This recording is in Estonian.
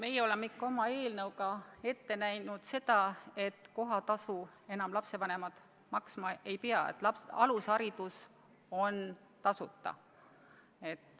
Meie oleme oma eelnõus ette näinud seda, et kohatasu enam lapsevanemad maksma ei pea, et alusharidus on tasuta.